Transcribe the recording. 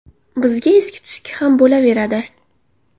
Bizga eski-tuski ham bo‘laveradi.